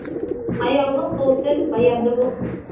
аяулы сол тіл баянды болсын